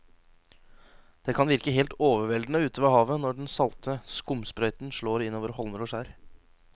Det kan virke helt overveldende ute ved havet når den salte skumsprøyten slår innover holmer og skjær.